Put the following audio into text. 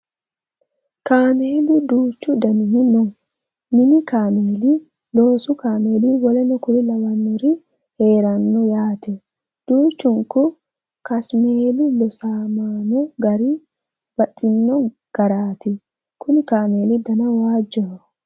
Kaamelu duuchu danihu no. Mini kaamei, loosu kasmeeli w.k.l heeranno yaate. Duuchunku kasmeeli loosamanno gari baxino garaati. Kuni kaameli dana waajjoho.